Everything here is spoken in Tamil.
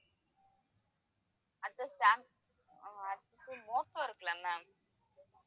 அடுத்தது சாம்~ அஹ் மோடோ இருக்குல்ல ma'am